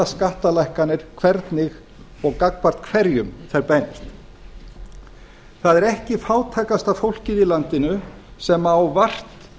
skattalækkanir hvernig og gagnvart hverjum þær beinast það er ekki fátækasta fólkið í landinu sem á vart